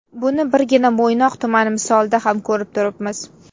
Buni birgina Mo‘ynoq tumani misolida ham ko‘rib turibmiz.